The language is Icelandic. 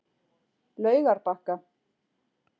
Laugarbakka